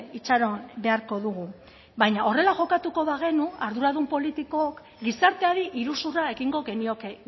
itxaron beharko dugu baina horrela jokatuko bagenu arduradun politikook gizarteari iruzurra egingo genioke